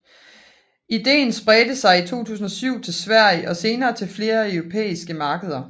Idéen spredte sig i 2007 til Sverige og senere til flere europæiske markeder